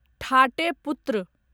ठाटे पुत्र